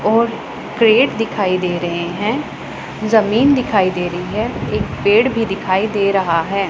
और क्रेट दिखाई दे रहे हैं जमीन दिखाई दे रही है एक पेड़ भी दिखाई दे रहा है।